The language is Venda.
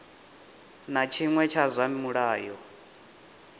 na tshiṅwe tsha zwa mulayo